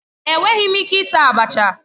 Enweghị m ike ita abacha.